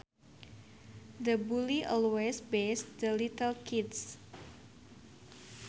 The bully always bashes the little kids